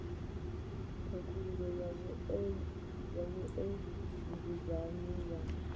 khakhululo ya vhue nzudzanyo ya